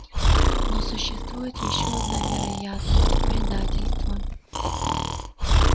но существует ещё одна вероятность предательство